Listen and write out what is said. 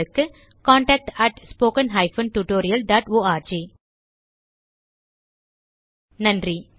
contact at spoken hyphen tutorial dot org நன்றி